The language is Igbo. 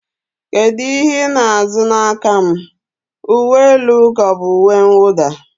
kedu ihe ị na-azụ n'aka m, uwe elu ka ọ bụ uwe mwụda?